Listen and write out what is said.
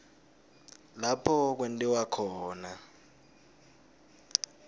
lapho kwentiwa khona